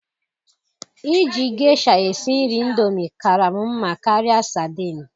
Iji geisha esi nri indomie kaara m mma karịa sardine.